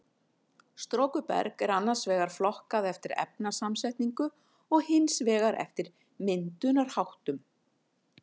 Storkuberg er annars vegar flokkað eftir efnasamsetningu og hins vegar eftir myndunarháttum.